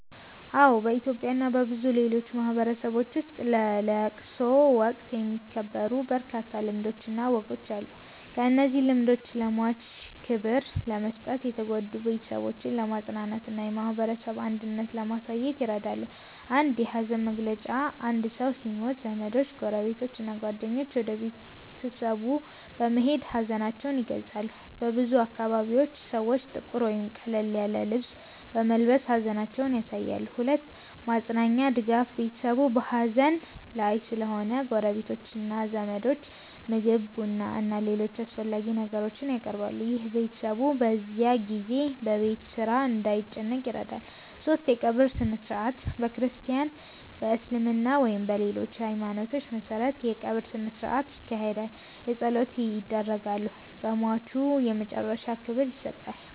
አዎ፣ በኢትዮጵያ እና በብዙ ሌሎች ማህበረሰቦች ውስጥ በለቅሶ ወቅት የሚከበሩ በርካታ ልማዶችና ወጎች አሉ። እነዚህ ልማዶች ለሟች ክብር ለመስጠት፣ የተጎዱትን ቤተሰቦች ለማጽናናት እና የማህበረሰብ አንድነትን ለማሳየት ይረዳሉ። 1. የሐዘን መግለጫ አንድ ሰው ሲሞት ዘመዶች፣ ጎረቤቶች እና ጓደኞች ወደ ቤተሰቡ በመሄድ ሀዘናቸውን ይገልጻሉ። በብዙ አካባቢዎች ሰዎች ጥቁር ወይም ቀለል ያለ ልብስ በመልበስ ሐዘናቸውን ያሳያሉ። 2. ማጽናኛ (ድጋፍ) ቤተሰቡ በሐዘን ላይ ስለሚሆን ጎረቤቶችና ዘመዶች ምግብ፣ ቡና እና ሌሎች አስፈላጊ ነገሮችን ያቀርባሉ። ይህ ቤተሰቡ በዚያ ጊዜ በቤት ስራ እንዳይጨነቅ ይረዳል። 3. የቀብር ሥነ-ሥርዓት በክርስቲያን፣ በእስልምና ወይም በሌሎች ሃይማኖቶች መሠረት የቀብር ሥነ-ሥርዓት ይካሄዳል። ጸሎቶች ይደረጋሉ፣ ለሟቹ የመጨረሻ ክብር ይሰጣል።